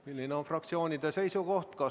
Milline on fraktsioonide seisukoht?